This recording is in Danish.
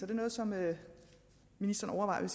det noget som ministeren